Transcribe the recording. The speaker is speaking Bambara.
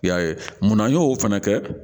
I y'a ye munna an y'o fana kɛ